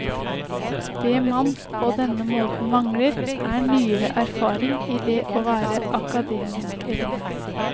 Det man på denne måten mangler, er nyere erfaring i det å være akademisk elev.